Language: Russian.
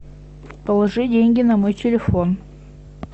положи деньги на мой телефон